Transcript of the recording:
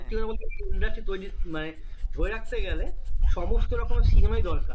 সত্যি কথা বলতে কি? industry তৈরির মানে ধরে রাখতে গেলে সমস্ত রকমের cinema ই দরকার